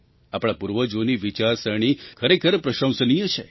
આપણા પૂર્વજોની વિચારસરણી ખરેખર પ્રશંસનીય છે